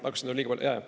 Kas neid on liiga palju?